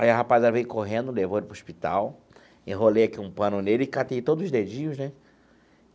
Aí a rapaziada veio correndo, levou ele para o hospital, enrolei aqui um pano nele e catei todos os dedinhos né.